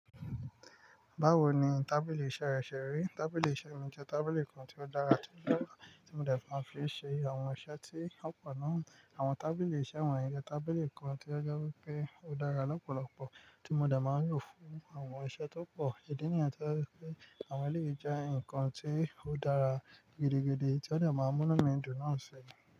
Báwo ni tábìlì iṣẹ́ rẹ ṣe rí? Tábìlì iṣẹ́ mi jẹ́ tábìlì kan tí ó dára tí ó dára tí mo dẹ̀ fa fi ṣe àwọn iṣẹ́ tí ó pọ̀ náà. Àwọn tábìlì iṣẹ́ won yẹn je tábìlì kan tí a jẹ́ wipé ó dára lọ́pọ̀lọpọ̀ tí mo dẹ̀ máa ń lò fún àwọn iṣẹ́ tó pọ̀. Ìdí nìyẹn to jẹ́ wipé àwọn ẹlẹ́yìí jẹ́ nǹkan tí ó dára gidigidi tí a dẹ̀ máa ń mú inu mi dùn náà ṣi.